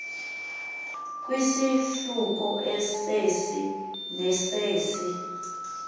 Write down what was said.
kwisahluko sesi nesesi